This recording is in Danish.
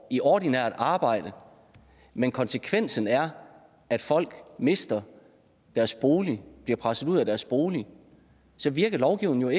i ordinært arbejde men konsekvensen er at folk mister deres bolig bliver presset ud af deres bolig virker lovgivningen